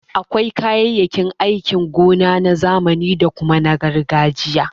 Akwai kayayyakin aikin gona na zamani da kuma na gargajiya.